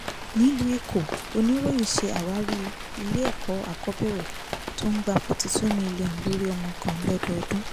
nílùú ẹ̀kọ́ oníròyìn s àwárí ilé-ẹ̀kọ́ akóbẹ̀rẹ̀ tó ń gba forty two million lórí ọmọ kan lọ́dọọdún